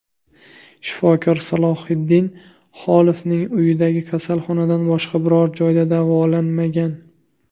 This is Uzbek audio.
Shifokor Salohiddin Xolovning uyidagi kasalxonadan boshqa biror joyda davolanmagan.